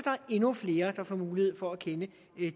er endnu flere der får mulighed for at kende